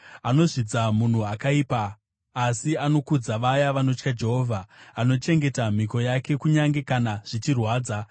anozvidza munhu akaipa asi anokudza vaya vanotya Jehovha, anochengeta mhiko yake kunyange kana zvichirwadza,